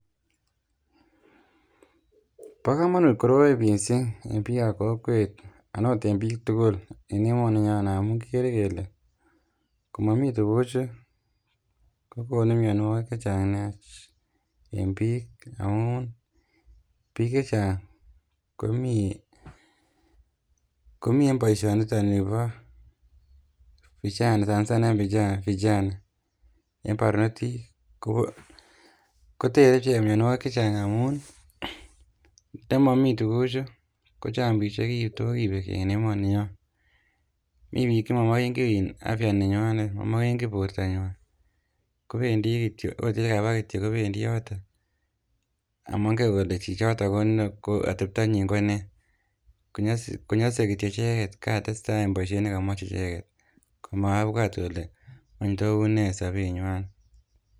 Bokomonut koroi mising en biik ab kokwet anan ot en biik tukul en emoninyon amun kikere kele komomi tukuchu kokonu mionwokik chechang nea en biik amun biik chechang komii en boishoniton nibo vijana sana sana en vijana en barnotik kotere ichek mionwokik chechang amun ndomomi tukuchu kochang biik chetokibek keny en emoni nyon, mii biik chemomoken kii afya nenywanet momoken kii bortanwan kobendi kityok ot elekaba kityok kobendi yotok among'en kole chichotok atebtanyin konee konyose kityok icheket katesta en boishet nekamach icheket komabwatb kole wany tos unee sobenywan.